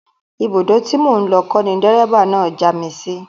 Ibùdó tí mò ń lọ kọ́ ni dẹ́ríbà náà já mi sí